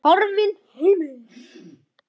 Horfinn heimur.